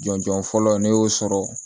Jɔnjɔn fɔlɔ ne y'o sɔrɔ